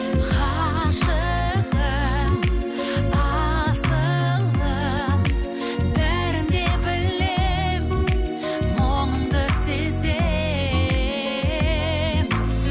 ғашығым асылым бәрін де білемін мұңыңды сеземін